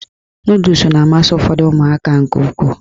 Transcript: Nọdụs na-amasị ụfọdụ ụmụaka nke ukwuu